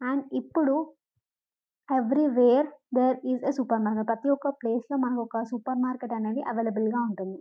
And ఇప్పుడు wherever there is a supermarket ప్రతియొక్క place లో మనకొక సూపర్ మార్కెట్ అనేది అవైలబుల్గా ఉంటుంది.